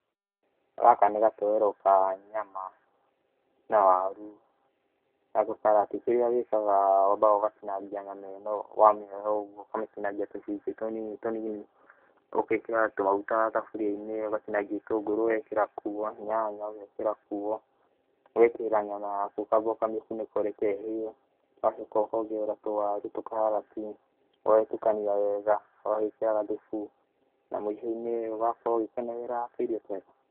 Gaka nĩ gatoero ka nyama na tũkarati. Kĩrĩa wĩkaga wambaga ũgatinangia nyama ĩno wamĩgũra oũguo, ũkamĩtinangia tũcunjĩ tũninitũnini. Ũgekĩra tũmaguta thaburiainĩ ũgatinangia gĩtũngũrũ ũgekĩra kuo, nyanya ũgekira kuo, ũgekĩra nyama yaku ũkamba kũmĩtiga ũkareka ĩhĩe. Ũgacoka ũkongerera tũwaru, tũkarati ũgagĩtukania wega ũgagĩkĩra gathufu na mũicoinĩ ũgakorwo ũgĩkenerera tũirio twaku.